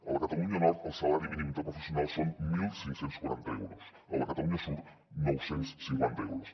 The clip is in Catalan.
a la catalunya nord el salari mínim interprofessional són quinze quaranta euros a la catalunya sud nou cents i cinquanta euros